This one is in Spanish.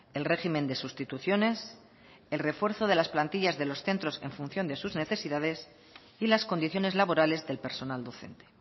el régimen de sustituciones el refuerzo de las plantillas de los centros en función de sus necesidades y las condiciones laborales del personal docente